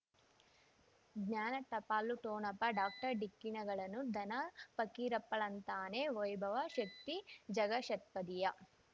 ಜ್ಞಾನ ಟಪಾಲು ಠೋಣಪ ಡಾಕ್ಟರ್ ಢಿಕ್ಕಿ ಣಗಳನು ಧನ ಫಕೀರಪ್ಪ ಳಂತಾನೆ ವೈಭವ ಶಕ್ತಿ ಝಗಾ ಷಟ್ಪದಿಯ